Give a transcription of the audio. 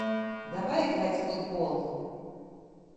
давай играть в футбол